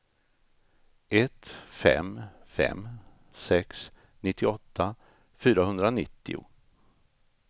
ett fem fem sex nittioåtta fyrahundranittio